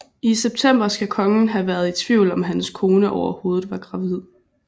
I september skal kongen have været i tvivl om hans kone overhovedet var gravid